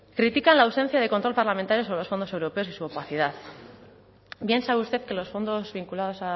critican la ausencia de control parlamentario sobre los fondos europeos y su opacidad bien sabe usted que los fondos vinculados